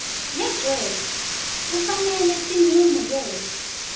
legcwele kufanele tingemukelwa